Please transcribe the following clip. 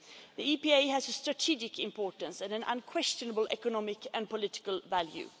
The EPA has a strategic importance and an unquestionable economic and political value.